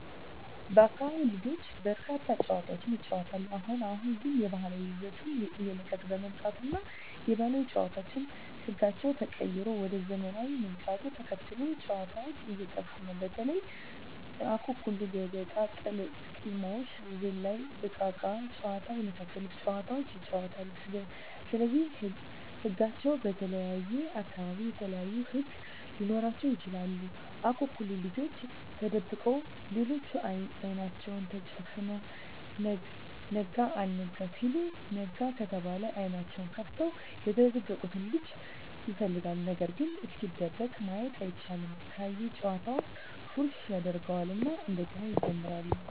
በአካቢው ልጆች በርካታ ጨዋታዎችን ይጫወታሉ አሁን አሁን ግን የባህል ይዘቱን እየለቀቀ በመምጣቱ እና የባህል ጨዋታዎች ህጋቸው ተቀይሮ ወደ ዘመናውያን ምጣቱን ተከትሎ ጨዎታዎች እየጠፉ ነው በተለይ:- አኩኩሉ ገበጣ: ቅልሞሽ ዝላይ እቃቃ ጨዎታ የመሣሠሉት ጨዋታዎች ይጫወታሉ ስለዚህ ህጋቸው በተለየየ አካባቢ የተለያዩ ህግ ሊኖራቸው ይችላል አኩኩሉ ልጆች ተደብቀው ሌሎች አይናቸውን ተጨፍነው ነጋ አልጋ ሲሉ ነጋ ከተባለ አይኔናቸውን ከፍተው የተደበቀውን ልጅ ይፈልጋሉ ነገርግ እስኪደበቅ ማየት አይቻልም ካየ ጨዋታውን ፉረሽ ያጀርገው እና እንደገና ይጀምራሉ።